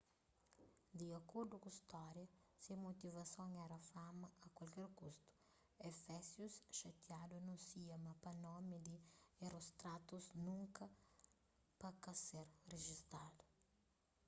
di akordu ku stória se motivason éra fama a kualker kustu efésius xatiadu anúnsia ma pa nomi di herostratus nunka pa ka ser rijistadu